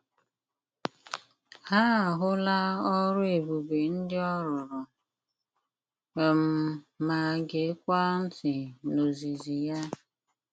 Ha ahụla ọrụ ebube ndị ọ rụrụ, um ma geekwa ntị n’ozizi ya.